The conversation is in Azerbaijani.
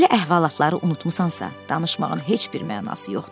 Belə əhvalatları unutmusansa, danışmağın heç bir mənası yoxdur.